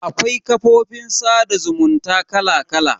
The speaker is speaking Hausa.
Akwai kafofin sada zumunta kala kala.